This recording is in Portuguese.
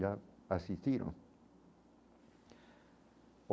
Já assistiram.